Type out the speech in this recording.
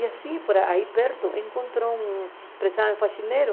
E assim, por aí perto, encontrou um empresário faxineiro,